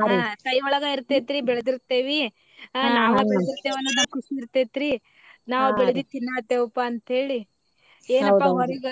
ಹಾ ಕೈಯೊಳಗ ಇರ್ತೇತ್ರಿ ಬೆಳದಿರತೇವಿ ನಾವ ಬೆಳದಿರತೇವ ಅನ್ನೋದ ಒಂದ ಖುಷಿ ಇರ್ತೇತ್ರಿ ನಾವ ಬೆಳದಿದ್ದ ತಿನ್ನಾತೇವಪಾ ಅಂತ ಹೇಳಿ ಏನಪ್ಪಾ ಹೊರಗ